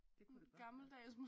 Det kunne det godt være